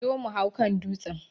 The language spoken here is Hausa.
Zo mu hau kan dutsen!